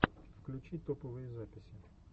включи топовые записи